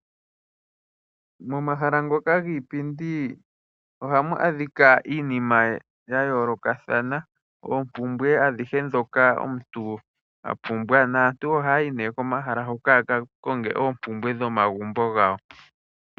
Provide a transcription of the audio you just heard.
Momahala ngoka giipindi ohamu adhika iinima ya yoolokathana. Oompumbwe adhihe ndhoka omuntu apumbwa. Naantu ohaya yi nee komahala hoka ya ka konge oompumbwe dhomagumbo gawo.